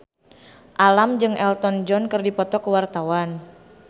Alam jeung Elton John keur dipoto ku wartawan